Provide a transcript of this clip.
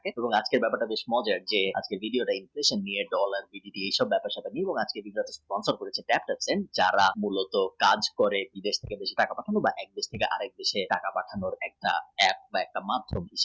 আজকের ব্যাপারটা বেশ মজার দিধা নেই কিছু নিয়ে dollar এসব ব্যাপার নিয়ে app যারা কাজ করে মূলত কাজ করে বিদেশ থেকে দেশে টাকা পাঠায় একটা app এর মধ্যমে।